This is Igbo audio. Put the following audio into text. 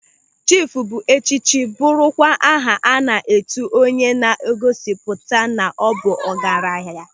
Chiif bụ echichi bụrụkwa aha a na-etu onye na-egosipụta na ọ bụ ọgaranya.